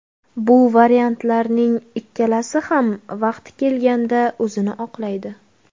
Bu variantlarning ikkalasi ham vaqti kelganda o‘zini oqlaydi.